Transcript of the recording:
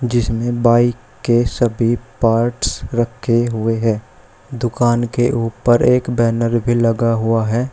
जिसने बाइक के सभी पार्ट्स रखे हुए हैं दुकान के ऊपर एक बैनर भी लगा हुआ है।